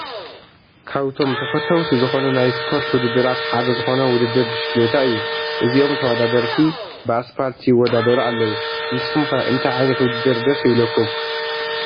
ካብቶም ተፈተውቲ ዝኾኑ ናይ ስፖርት ውድድራት ሓደ ዝኾነ ውድድር ብሽክሌታ እዩ፡፡ እዚኦም ተወዳዳርቲ ብኣስፓልቲ ይወዳደሩ ኣለው፡፡ ንስኹም ከ እንታይ ዓ/ት ውድድር ደስ ይብለኩም?